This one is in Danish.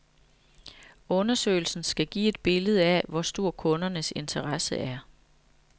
Undersøgelsen skal give et billede af, hvor stor kundernes interesse er.